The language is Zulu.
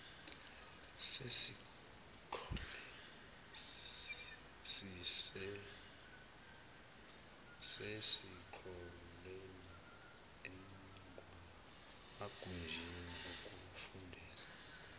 sesikoleni emagunjini okufundela